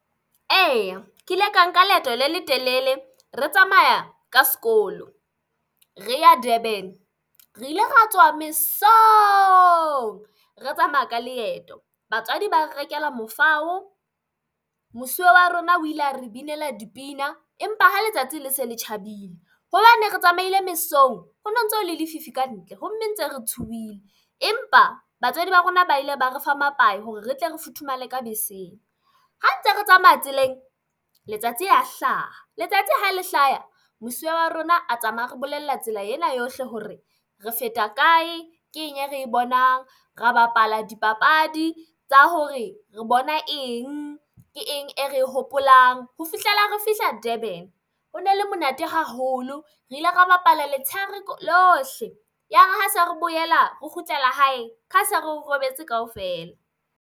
Eya, ke ile ka nka leeto le letelele re tsamaya ka sekolo, re ya Durban. Re ile ra tsoha mesong re tsamaya ka leeto. Batswadi ba re rekela mofao. Mosuwe wa rona o ile a re binela dipina. Empa ha letsatsi le se le tjhabile hobane re tsamaile mesong ho no ntso ho le lefifi ka ntle ho mme ntse re tshohile. Empa batswadi ba rona ba ile ba re fa mapae hore re tle re futhumale ka beseng. Ha ntse re tsamaya tseleng, letsatsi ya hlaha. Letsatsi ha le hlaya, mosuwe wa rona a tsamaya a re bolella tsela ena yohle hore re feta kae, ke eng e re bonang, ra bapala dipapadi tsa hore re bona eng. Ke eng e re e hopolang ho fihlela re fihla Durban. Ho no le monate haholo re ile ra bapala letshehare lohle. Yare ha se re boela re kgutlela hae, ha se re o robetse ka ofela.